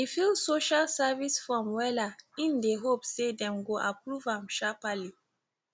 e fill social services form wella im dey hope say dem go approve am sharpally